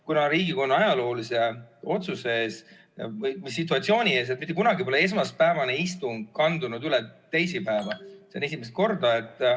Kuna Riigikogu on ajaloolise otsuse ees või situatsiooni ees, mitte kunagi pole esmaspäevane istung kandunud üle teisipäeva, see on esimest korda.